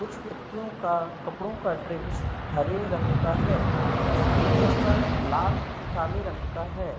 कुछ व्यक्तियों का कपड़ों का ड्रेस हरे रंग का है जबकि कुछ का लाल काले रंग का है।